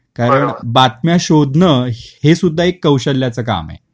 कारण बातम्या शोधन हे सुद्धा एक कौशल्याच काम आहे.